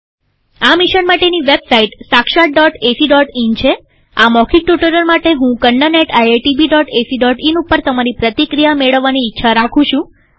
આ મિશન માટેની વેબસાઈટ sakshatacઇન છેઆ મૌખિક ટ્યુ્ટોરીઅલ માટે હું kannaniitbacin ઉપર તમારી પ્રતિક્રિયા મેળવવાની ઈચ્છા રાખું છું